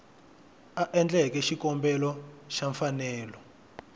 a endleke xikombelo xa mfanelo